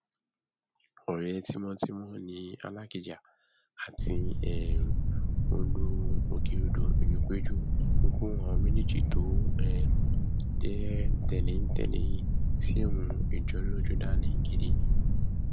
ọrẹ tímọtímọ ni alákijá àti um olú òkèodò ìlúpẹjù ikú àwọn méjèèjì tó um jẹ tẹléńtẹlé yìí sì mú ìjọlójú dání gidi